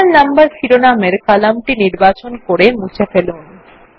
serial number শিরোনামের কলামটি নির্বাচন করে মুছে ফেলুন